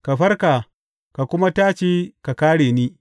Ka farka, ka kuma tashi ka kāre ni!